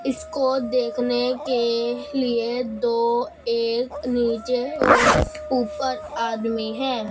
इसको देखने के लिए दो एक नीचे और ऊपर आदमी है।